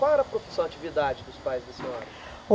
Qual era a profissão, atividade dos pais da senhora?